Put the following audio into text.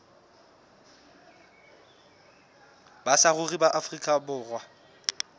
ba saruri ba afrika borwa